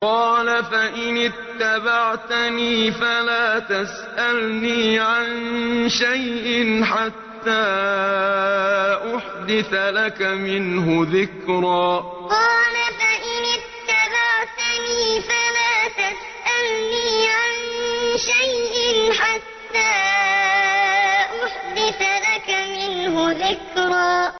قَالَ فَإِنِ اتَّبَعْتَنِي فَلَا تَسْأَلْنِي عَن شَيْءٍ حَتَّىٰ أُحْدِثَ لَكَ مِنْهُ ذِكْرًا قَالَ فَإِنِ اتَّبَعْتَنِي فَلَا تَسْأَلْنِي عَن شَيْءٍ حَتَّىٰ أُحْدِثَ لَكَ مِنْهُ ذِكْرًا